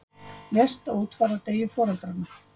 Lést á útfarardegi foreldranna